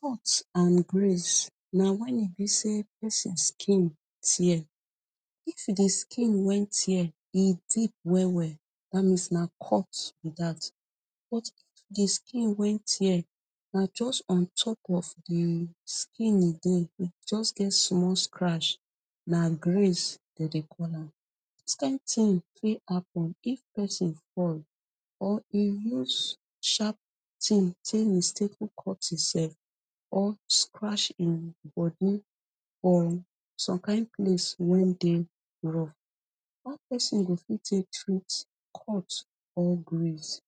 cut and grace na wen e bi say pesin skin tear if e bi say di skin way tear e deep well well dat means na cut bi dat but di skin wey tear na just ontop of di skin e dey just get small scratch na grace dem dey call am dis kin tin fit happen if pesin fall or e use sharp tin mistakely cut himself or scratch him bodi on some kin place wen dey raw how pesin go fit take treat cut or grace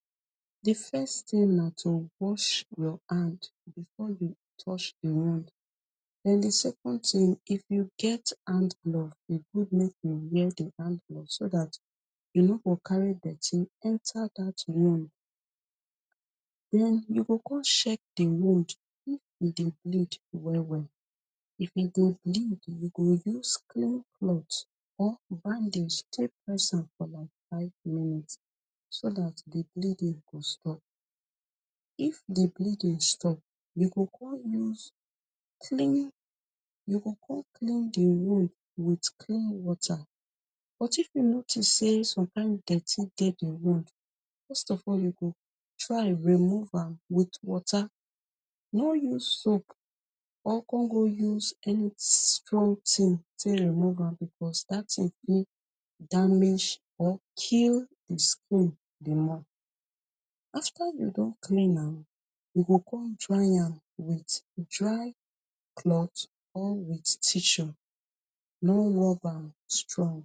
I first tin na to wash well and before you touch e wound den di second tin if you get hand glove e good make you wear di hand glove so dat you no go carry dirty enter dat wound den you come check di wound if e bleed well well if e bleed you go come use cloth press am like for five minutes so dat di bleeding go stop if di bleeding stop you go come use clean you go come clean di wound wit clean water but if you notice some kin dirty dey di wound first of all you go try remove am wit water no use soap or con go use any strong tin come remove am becos dat tin fit damage or kill di di more after you don clean am you go come dry am wit dry cloth or wit tissue no rob am strong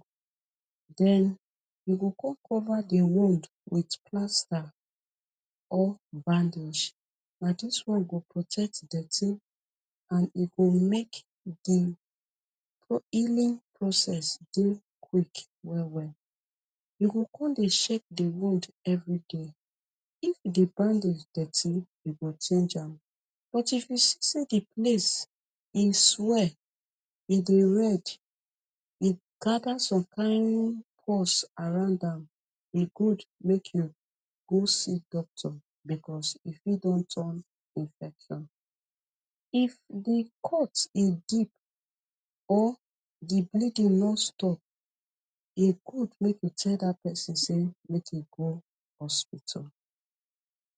den you go come cover di wound wit plasta or bandage na dis one go protect dirty and e go make e di healing process dey quick well well you go come dey check di wound everyday if di bandage dirty you go change am but if you see say di place e swel e dey red gather some kin pulse around am e good make you go see doctor becos e fit don turn infection if di cut e deep or di bleeding no stop e go make you tell dat pesin make e go hospital.